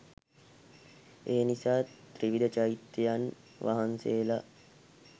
එනිසා ත්‍රිවිධ චෛත්‍යයන් වහන්සේලා